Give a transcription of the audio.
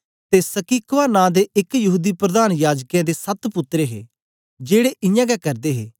ते स्किक्वा नां दे एक यहूदी प्रधान याजकें दे सत पुत्तर हे जेड़े इयां गै करदे हे